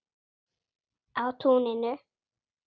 Á túninu.